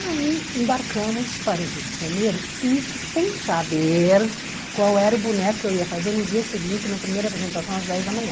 Aí embarcamos para o Rio de Janeiro, isso sem saber qual era o boneco que eu ia fazer no dia seguinte, na primeira apresentação, às dez da manhã.